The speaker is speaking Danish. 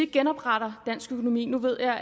genopretter dansk økonomi nu er